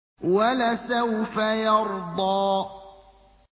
وَلَسَوْفَ يَرْضَىٰ